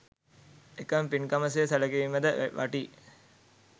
එකම පින්කම සේ සැළකීමද වටී.